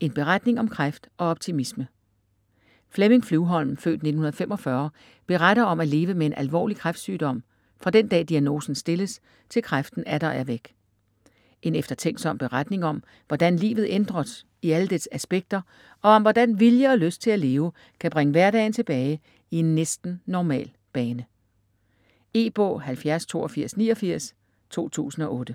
en beretning om kræft og optimisme Flemming Flyvholm (f. 1945) beretter om at leve med en alvorlig kræftsygdom fra den dag diagnosen stilles til kræften atter er væk. En eftertænksom beretning om hvordan livet ændres i alle dets aspekter, og om hvordan vilje og lyst til at leve kan bringe hverdagen tilbage i en næsten normal bane. E-bog 708289 2008.